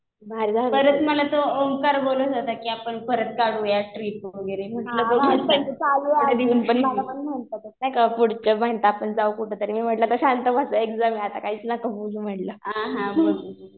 परत मला तो ओंकार बोलत होता कि आपण परत काढूयात ट्रिप वगैरे. नाही का पुढच्या मन्थला आपण जाऊ कुठंतरी. म्हणलं आता शांत बस. एक झालं आता काहीच नका बोलू.